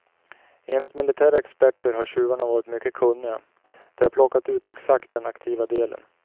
Enligt militära experter har tjuvarna varit mycket kunniga, de har plockat ut exakt den aktiva delen.